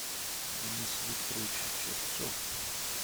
денис викторович черцов